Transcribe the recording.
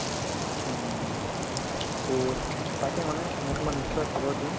উম, to তাকে মানে মই তোমাক নিশ্চয় খবৰ দিম